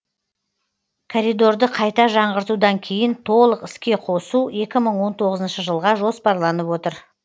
коридорды қайта жаңғыртудан кейін толық іске қосу екі мың он тоғызыншы жылға жоспарланып отыр